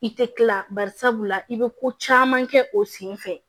I tɛ kila barisabula i bɛ ko caman kɛ o sen fɛ